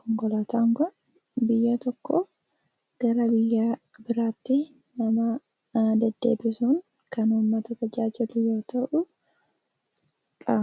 konkolaataan kun yeroo tokko gara biyya biraatti nama deddeebisuu kan uummata tajaajiludha.